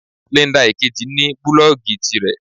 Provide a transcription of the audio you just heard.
Linda Ìkejì ní búlòògì tirẹ̀.